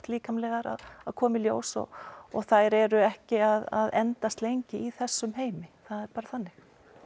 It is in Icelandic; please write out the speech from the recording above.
líkamleg að koma í ljós og og þær eru ekki að endast lengi í þessum heimi það er bara þannig